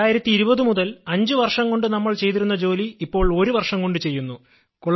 2020 മുതൽ അഞ്ച് വർഷം കൊണ്ട് നമ്മൾ ചെയ്തിരുന്ന ജോലി ഇപ്പോൾ ഒരു വർഷം കൊണ്ട് ചെയ്യുന്നു